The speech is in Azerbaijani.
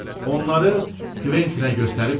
Onları Kventinə göstərib dedi: